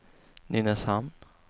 Nynäshamn